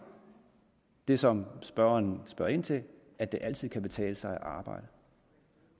det som spørgeren spørger ind til at det altid kan betale sig at arbejde